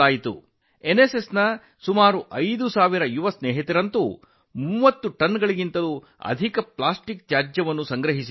ಎನ್ಎಸ್ಎಸ್ನ ಸುಮಾರು 5000 ಯುವ ಸ್ನೇಹಿತರು 30 ಟನ್ಗಳಿಗಿಂತ ಹೆಚ್ಚು ಪ್ಲಾಸ್ಟಿಕ್ ಅನ್ನು ಸಂಗ್ರಹಿಸಿದರು